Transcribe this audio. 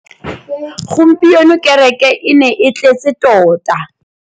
Gompieno kêrêkê e ne e tletse tota.